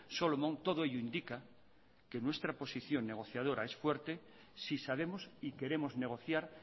solomon todo ello indica que nuestra posición negociadora es fuerte si sabemos y queremos negociar